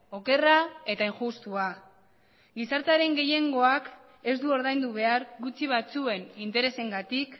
okerra eta injustua gizartearen gehiengoak ez du ordaindu behar gutxi batzuen interesengatik